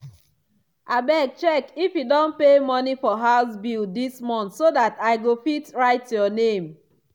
abeg check if e don pay money for house bill dis month so dat i go fit write your name.